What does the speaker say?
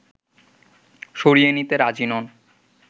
সরিয়ে নিতে রাজি নন